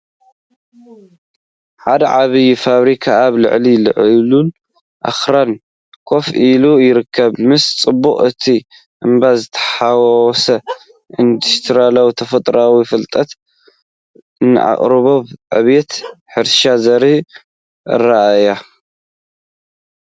ሓደ ዓቢይ ፋብሪካ ኣብ ልዕሊ ልዑል ኣኽራን ኮፍ ኢሉ ይርከብ። ምስ ጽባቐ እቲ እምባ ዝተሓዋወሰ ኢንዱስትርያውን ተፈጥሮኣውን ፍልጠት፤ ንኣቀራርባ ዕብየትን ሕርሻን ዘርኢ ኣረኣእያ።